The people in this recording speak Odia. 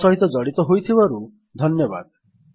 ଆମ ସହିତ ଜଡ଼ିତ ହୋଇଥିବାରୁ ଧନ୍ୟବାଦ